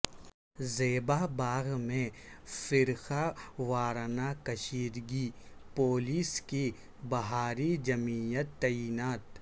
زیبا باغ میں فرقہ وارانہ کشیدگی پولیس کی بھاری جمعیت تعینات